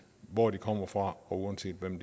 hvor de kommer fra og uanset hvem